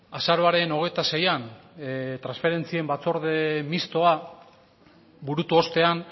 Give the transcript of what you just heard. azaroaren hogeita seian transferentzien batzorde mixtoa burutu ostean